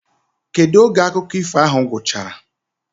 kedu oge akụkọ ifo ahụ gwụchara?